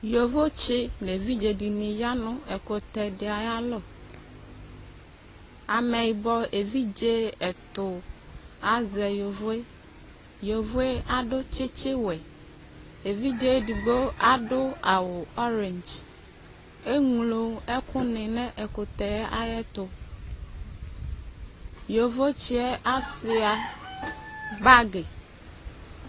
Yobotse ne evidE de ne ya ɛkutɛ de ayalɔAmɛyibɔ evidzw ɛto azɛ yovoeYovoe ado tsitsiwɛ Evidze edigbo ado awu ɔrindz Eñlo ɛku ne no ɛkutɛ ayeto Yovotsiɛ asua bagi